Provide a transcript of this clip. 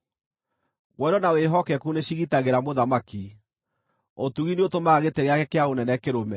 Wendo na wĩhokeku nĩcigitagĩra mũthamaki; ũtugi nĩũtũmaga gĩtĩ gĩake kĩa ũnene kĩrũme.